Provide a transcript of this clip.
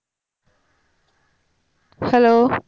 hello